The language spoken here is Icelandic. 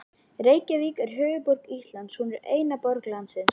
Reykjavík er höfuðborg Íslands. Hún er eina borg landsins.